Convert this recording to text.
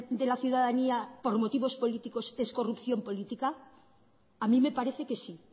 de la ciudadanía por motivos políticos es corrupción política a mí me parece que sí